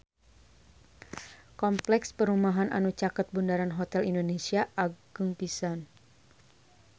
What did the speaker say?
Kompleks perumahan anu caket Bundaran Hotel Indonesia agreng pisan